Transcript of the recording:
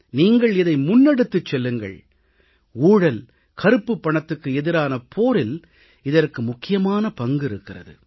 நீங்கள் இதை முன்னெடுத்துச் செல்லுங்கள் ஊழல் கருப்புப் பணத்துக்கு எதிரான போரில் இதற்கு முக்கியமான பங்கு இருக்கிறது